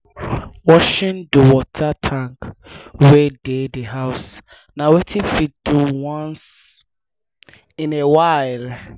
washing di water tanks wey dey di house na wetin fit do once in a while